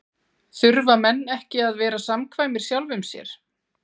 Þurfa menn ekki að vera samkvæmir sjálfum sér?